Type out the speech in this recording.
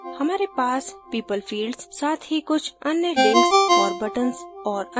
हमारे पास people fields साथ ही कुछ अन्य links और buttons और अन्य चीजों का एक set होगा